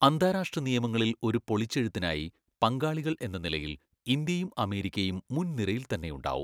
അന്താരാഷ്ട്ര നിയമങ്ങളിൽ ഒരു പൊളിച്ചഴുത്തിനായി പങ്കാളികൾ എന്ന നിലയിൽ ഇന്ത്യയും അമേരിക്കയും മുന്നിരയിൽ തന്നെയുണ്ടാകും.